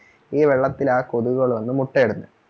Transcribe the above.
ഈ വെള്ളത്തിൽ ആ കൊതുകുകൾ വന്നു മുട്ടയിടുന്നെ